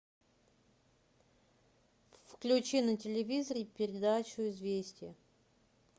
включи на телевизоре передачу известия